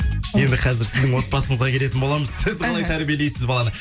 енді қазір сіздің отбасыңызға келетін боламыз сіз қалай тәрбиелейсіз баланы